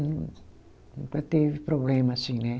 E nunca teve problema assim, né?